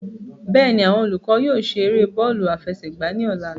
Bẹ́ẹ̀ni, awọn olukọ yóò ṣe ere bọọlu afẹsẹgba ni ọla